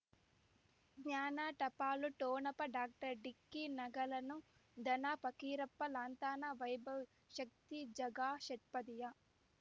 ಜ್ಞಾನ ಟಪಾಲು ಠೊಣಪ ಡಾಕ್ಟರ್ ಢಿಕ್ಕಿ ಣಗಳನು ಧನ ಪಕೀರಪ್ಪ ಳಂತಾನ ವೈಭವ್ ಶಕ್ತಿ ಝಗಾ ಷಟ್ಪದಿಯ